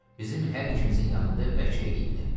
Bizim hər ikimizin yanında vəkil eləyibdir.